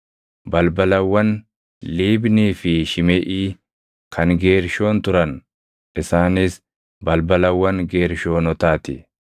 Balbalawwan Liibnii fi Shimeʼii kan Geershoon turan; isaanis balbalawwan Geershoonotaa ti.